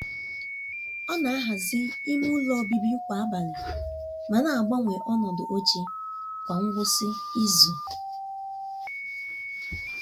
ọ na-ahazi ime ụlọ obibi kwa um abalị ma na-agbanwe ọdụ oche kwa ngwụsị izu. um